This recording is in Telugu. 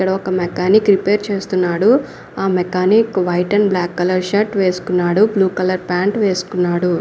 ఇక్కడ ఒక మెకానిక్ రిపేర్ చేస్తున్నాడు. ఆ mechanic white and black colour shirt వేసుకున్నాడు. బ్లూ కలర్ ప్యాంటు వేసుకున్నాడు.